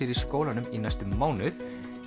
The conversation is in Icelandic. í skólanum í næstum mánuð